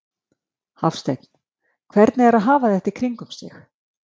Hafsteinn: Hvernig er að hafa þetta í kringum sig?